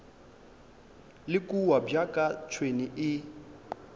le kua bjaka tšhwene e